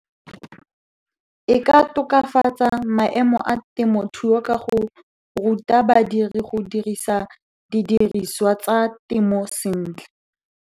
E ka tokafatsa maemo a temothuo ka go ruta badiri go dirisa didiriswa tsa temo sentle.